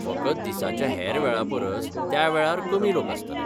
फकत दिसाच्या हेर वेळा परस त्या वेळार कमी लोक आस्तले.